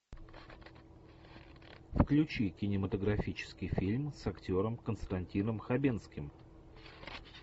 включи кинематографический фильм с актером константином хабенским